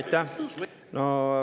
Aitäh!